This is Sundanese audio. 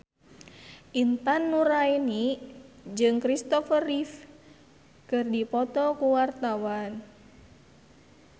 Intan Nuraini jeung Kristopher Reeve keur dipoto ku wartawan